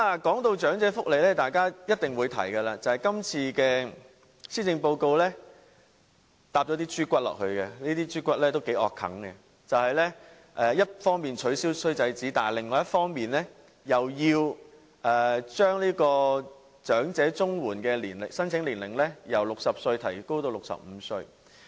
談到長者福利，大家一定會提及今次施政報告附送了一些"豬骨"，這些"豬骨"都很難接受，就是一方面取消"衰仔紙"，但另一方面又將長者綜援的申請年齡由60歲提高至65歲。